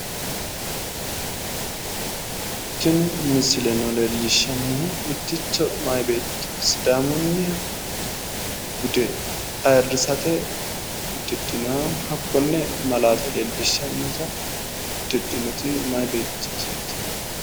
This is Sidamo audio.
Tini misileno leellishshahu mitticho meyaa beetto sidaamunniha bude ayiirrisate uddidhinoho. hakkonne malaate leellishshayi insa uddidhinoti meyaa beettooti.